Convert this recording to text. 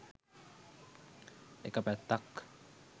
එක පැත්තක්.